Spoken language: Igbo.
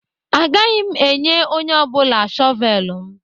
Agaghị m enye onye ọ bụla shọvel m.